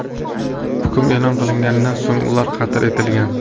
Hukm e’lon qilinganidan so‘ng ular qatl etilgan.